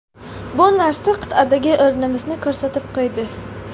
Bu narsa qit’adagi o‘rnimizni ko‘rsatib qo‘ydi.